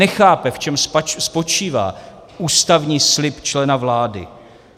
Nechápe, v čem spočívá ústavní slib člena vlády.